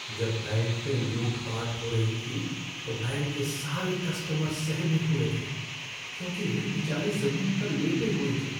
जब बैंक में लूटपाट हो रही थी तो बैंक के सारे कस्टमर सहमे हुए थे, क्योंकि वे बेचारे ज़मीन पर लेटे हुए थे।